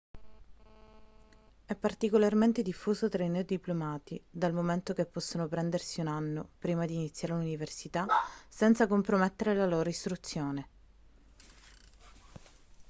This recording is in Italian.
è particolarmente diffuso tra i neodiplomati dal momento che possono prendersi un anno prima di iniziare l'università senza compromettere la loro istruzione